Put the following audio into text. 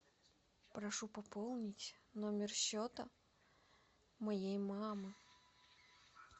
прошу пополнить номер счета моей мамы